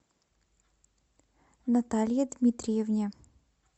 наталье дмитриевне